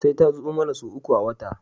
Sai ta zo mana sau uku a wata